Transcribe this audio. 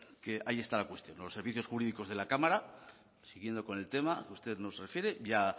que ahí está la cuestión los servicios jurídicos de la cámara siguiendo con el tema que usted nos refiere